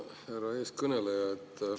Härra eeskõneleja!